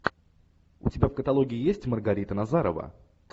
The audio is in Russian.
у тебя в каталоге есть маргарита назарова